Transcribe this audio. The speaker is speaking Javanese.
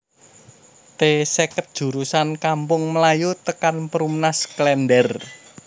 T seket jurusan Kampung Melayu tekan Perumnas Klender